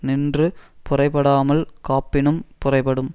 நின்று புரைபடாமல் காப்பினும் புரைபடும்